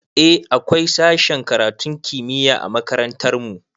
Eh akwai sashen karatun kimiyya a makarantar mu